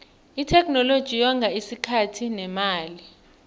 itheknoloji yonga isikhathi nemali